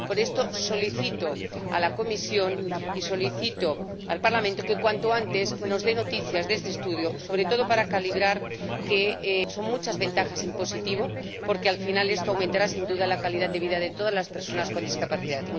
Por esto solicito a la Comisión y solicito al Parlamento que cuanto antes nos den noticias de este estudio, sobre todo para calibrar que son muchas ventajas en positivo, porque al final esto aumentará sin duda la calidad de vida de todas las personas con discapacidad.